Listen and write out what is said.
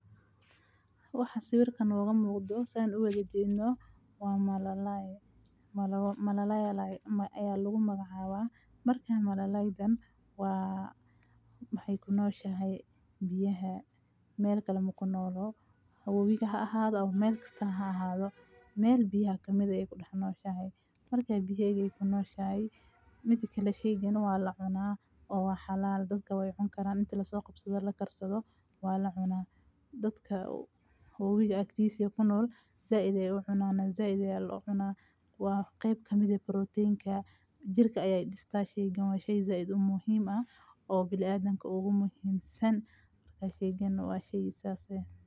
Waxa sawirka nooga muuqdo sameeyay waa malalayaal ayaa lagu magacaabo marka malalayaadan waa hay ku nooshahay biyae meel kale mu ku noolo hubiga ahaado ama meel ka tanaaha ahaado meel biya kamida ay ku dhanooshahe. Markay biyayga ku nooshahay middo kale shaygan waa la cunaan oo waaxaaladooda way xun karaan inta soo qabsada la karsado waa la cunaan dadka hubiga agtiis iyo kunool. Zaidee wuxuu cunaanaa zaidee loxuna waa qeyb ka mid ah protein ka jirka. Ayay distaashay gunwaanyi shaizaa idoo muhiima ah oo bilaa adanka ugu muhiimsan ka sheeganeysan waa shey saase.